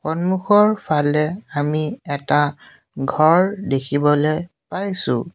সন্মুখৰ ফালে আমি এটা ঘৰ দেখিবলৈ পাইছোঁ।